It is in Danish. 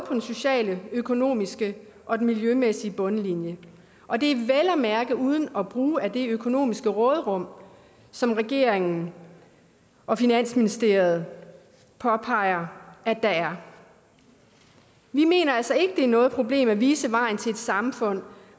den sociale den økonomiske og den miljømæssige bundlinje og det er vel at mærke uden at bruge af det økonomiske råderum som regeringen og finansministeriet påpeger at der er vi mener altså ikke det er noget problem at vise vejen til et samfund